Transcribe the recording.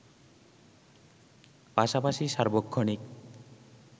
পাশাপাশি সার্বক্ষণিক